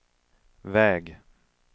väg